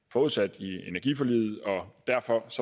forudsat i energiforliget og derfor